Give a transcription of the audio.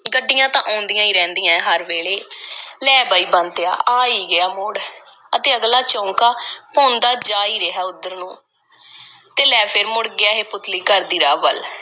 ਗੱਡੀਆਂ ਤਾਂ ਆਉਂਦੀਆਂ ਈ ਰਹਿੰਦੀਆਂ ਐਂ, ਹਰ ਵੇਲੇ। ਲੈ ਬਈ ਬੰਤਿਆ, ਆ ਗਿਆ ਈ ਮੋੜ, ਅਤੇ ਅਗਲਾ ਚੌਂਂਕਾ ਭੌਂਦਾ ਜਾ ਰਿਹਾ ਈ ਉੱਧਰ ਨੂੰ, ਤੇ ਲੈ ਫੇਰ ਮੁੜ ਗਿਐ ਇਹ ਪੁਤਲੀ ਘਰ ਦੀ ਰਾਹ ਵੱਲ,